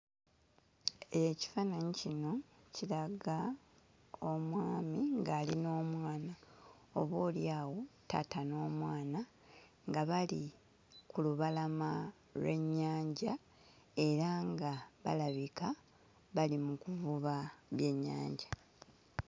Ekifaananyi kino kiraga omwami ng'ali n'omwana, oboolyawo taata n'omwana nga bali ku lubalama lw'ennyanja era nga balabika bali mu kuvuba byennyanja.